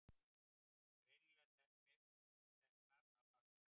Greinilega teknar af fagmanni.